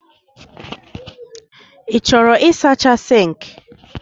Ị chọrọ ịsacha sink?